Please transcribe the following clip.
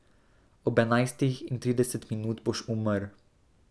Ob enajstih in trideset minut boš umrl.